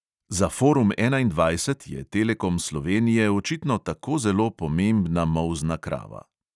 Za forum enaindvajset je telekom slovenije očitno tako zelo pomembna molzna krava.